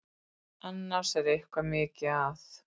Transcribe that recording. Annars er eitthvað mikið að.